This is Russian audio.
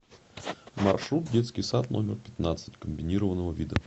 маршрут детский сад номер пятнадцать комбинированного вида